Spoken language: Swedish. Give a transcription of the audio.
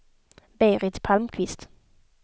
Berit Palmqvist